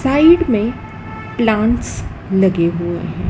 Side में plants लगे हुए है।